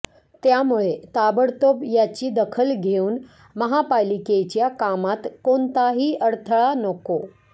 त्यामुळे ताबडतोब याची दखल घेऊन महापालिकेच्या कामात कोणताही अडथळा नको